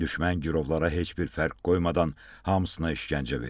Düşmən girovlara heç bir fərq qoymadan hamısına işgəncə verib.